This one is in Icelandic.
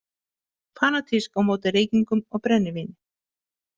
Fanatísk á móti reykingum og brennivíni.